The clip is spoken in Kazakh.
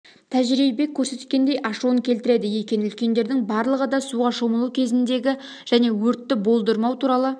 тәжірибе көрсеткендей ашуын келтіреді екен үлкендердің барлығы да суға шомылу кезіндегі және өртті бодырмау туралы